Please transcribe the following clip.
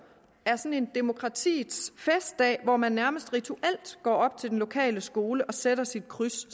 er sådan en demokratiets festdag hvor man nærmest rituelt går op til den lokale skole og sætter sit kryds